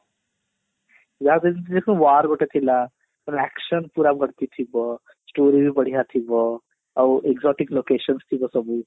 war ଗୋଟେ ଥିଲା action ପୁରା ଭର୍ତି ଥିବ story ବି ବଢିଆ ଥିବ ଆଉ exotic location ଥିବ ସବୁ